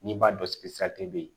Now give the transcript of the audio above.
N'i b'a dɔn bɛ yen